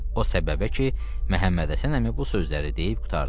O səbəbə ki, Məhəmmədhəsən əmi bu sözləri deyib qurtardı.